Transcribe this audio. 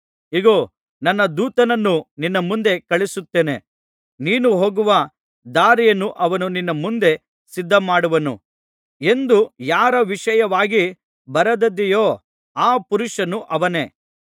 ಇಗೋ ನನ್ನ ದೂತನನ್ನು ನಿನ್ನ ಮುಂದೆ ಕಳುಹಿಸುತ್ತೇನೆ ನೀನು ಹೋಗುವ ದಾರಿಯನ್ನು ಅವನು ನಿನ್ನ ಮುಂದೆ ಸಿದ್ಧಮಾಡುವನು ಎಂದು ಯಾರ ವಿಷಯವಾಗಿ ಬರೆದದೆಯೋ ಆ ಪುರುಷನು ಅವನೇ